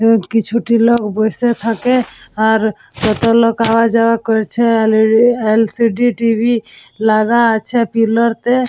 এ কিছু টি লোক বসে থাকে। আর কত লোক আওয়া-যাওয়া করছে। এল.ই.ডি. এল.সি.ডি. টি.ভি. লাগা আছে পিলার তে।